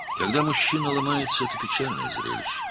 Kişi sındığı zaman bu, kədərli bir mənzərədir.